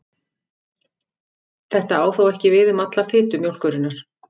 Þetta á þó ekki við um alla fitu mjólkurinnar.